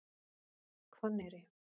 Hvanneyri